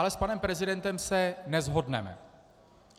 Ale s panem prezidentem se neshodneme.